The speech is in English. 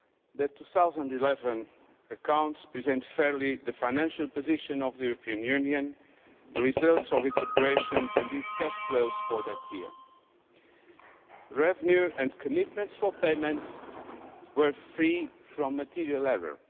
The 2011 accounts present fairly the financial position of the European Union, the results of its operations and its cash flows for that year. Revenue and commitments for payments were free from material error.